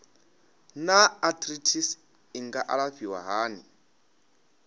naa arthritis i nga alafhiwa hani